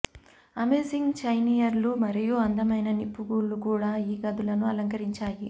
amazing చైన్లియర్లు మరియు అందమైన నిప్పు గూళ్లు కూడా ఈ గదులను అలంకరించాయి